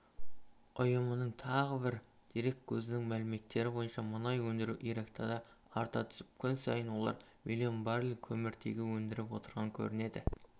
ұйымының тағы бір дереккөзінің мәліметтері бойынша мұнай өндіру иракта да арта түсіп күн сайын олар млн баррель көміртегі өндіріп отырған көрінеді